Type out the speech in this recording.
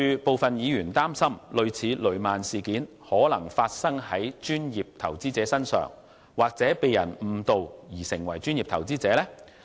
部分議員擔心，類似雷曼事件的情況可能會發生在專業投資者身上，或有人會因被誤導而成為專業投資者。